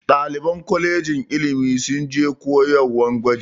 Ɗaliban kolejin ilimi sun je koyarwan gwaji.